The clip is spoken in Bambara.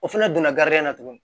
O fana donna garijɛgɛ na tuguni